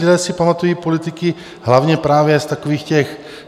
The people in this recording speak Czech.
Lidé si pamatují politiky hlavně právě z takových těch...